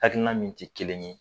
Hakilina min ti kelen ye